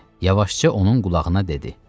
Yavaşca onun qulağına dedi.